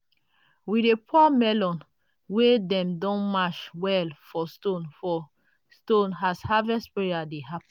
we dey pour melon wey dem don mash well for stones for stones as harvest prayer dey happen.